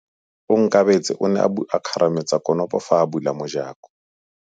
Onkabetse o ne a kgarametsa konopô fa a bula mojakô.